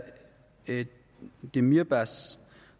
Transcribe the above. demirbaş